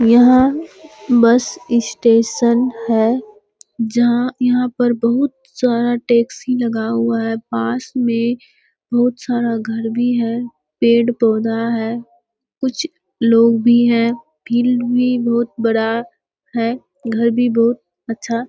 यहाँ bus station है जहाँ यहाँ पर बहुत सारा टैक्सी लगा हुआ है पास में बहुत सारा घर भी है पेड़-पौधा है कुछ लोग भी हैं फील्ड भी बहुत बड़ा है घर भी बहुत अच्छा --